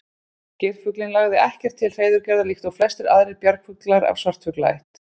Geirfuglinn lagði ekkert til hreiðurgerðar líkt og flestir aðrir bjargfuglar af svartfuglaætt.